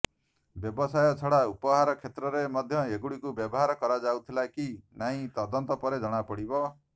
ବ୍ୟବସାୟ ଛଡ଼ା ଉପହାର କ୍ଷେତ୍ରରେ ମଧ୍ୟ ଏଗୁଡ଼ିକୁ ବ୍ୟବହାର କରାଯାଉଥିଲା କି ନାହିଁ ତଦନ୍ତ ପରେ ଜଣାପଡ଼ିବ